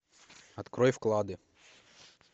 открой вклады